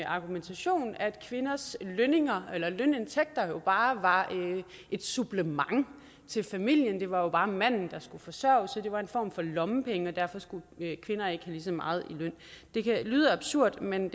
argumentation at kvinders lønindtægter jo bare var et supplement til familien det var var manden der skulle forsørge familien så det var en form for lommepenge og derfor skulle kvinder ikke lige så meget i løn det lyder absurd men